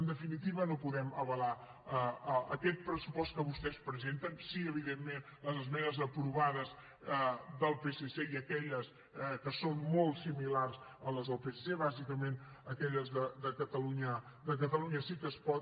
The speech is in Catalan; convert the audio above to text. en definitiva no podem avalar aquest pressupost que vostès presenten sí evidentment les esmenes aprovades del psc i aquelles que són molt similars a les del psc bàsicament aquelles de catalunya sí que es pot